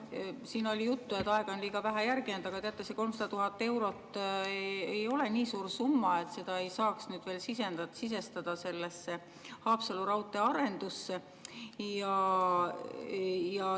Siin oli juttu, et aega on liiga vähe järele jäänud, aga see 300 000 eurot ei ole nii suur summa, et seda ei saaks veel sisestada sellesse Haapsalu raudtee arendusse.